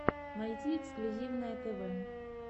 найти эксклюзивное тв